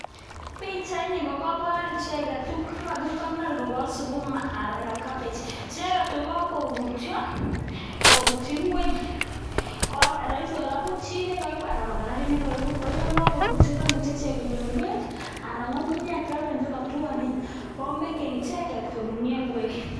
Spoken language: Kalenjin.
Pichait ni kokobor icheket tuguk chekakikonor kokasukuma anan ko kebich, icheket kokakobutyo kobutyi ngweny koroisi kobutyi chi nekoibu anan ko karit nekoibu koyon kakubutyo komuche ichek konyor beek anan ko ng'ung'unyek chotok chekotwonen koyoe icheket konunyo ngwek.